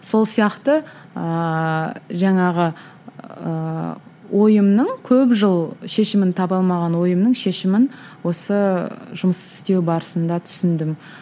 сол сияқты ыыы жаңағы ыыы ойымның көп жыл шешімін таба алмаған ойымның шешімін осы жұмыс істеу барысында түсіндім